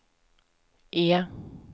E